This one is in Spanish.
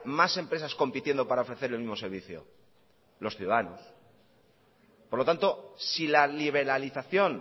más empresas compitiendo para ofrecer el mismo servicio los ciudadanos por lo tanto si la liberalización